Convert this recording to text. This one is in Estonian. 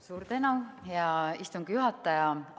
Suur tänu, hea istungi juhataja!